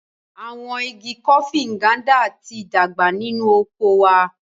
Awọn ìgi Kofi Nganda ti dàgbà nínú oko wà